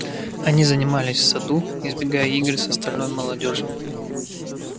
они занимались в саду избегая игр с остальной молодёжью